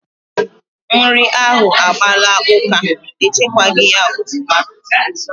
Nri ahụ agbaala ụka, e chekwaghi ya ofuma